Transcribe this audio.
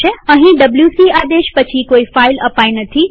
અહીં ડબ્લ્યુસી આદેશ પછી કોઈ ફાઈલ અપાઈ નથી